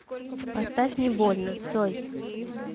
поставь не больно цой